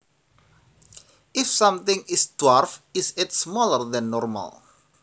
If something is dwarf is it smaller than normal